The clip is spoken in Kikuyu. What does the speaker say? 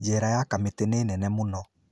Jera ya Kamiti nĩ nene mũno.